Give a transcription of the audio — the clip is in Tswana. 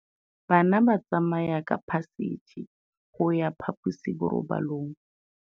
Bana ba tsamaya ka phašitshe go ya kwa phaposiborobalong.